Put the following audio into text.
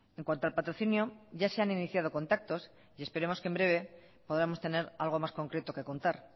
en cuanto al patrocinio ya se han iniciado contactos y esperemos que en breve podamos tener algo más concreto que contar